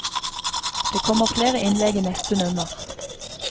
Det kommer flere innlegg i neste nummer.